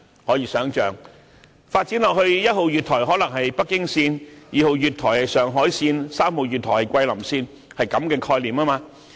可以想象，發展下去一號月台可能是北京線，二號月台是上海線，三號月台是桂林線，是這樣的概念。